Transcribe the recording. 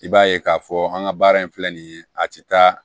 I b'a ye k'a fɔ an ka baara in filɛ nin ye a ti taa